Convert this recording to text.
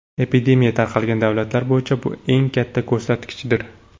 Epidemiya tarqalgan davlatlar bo‘yicha bu eng katta ko‘rsatkichdir.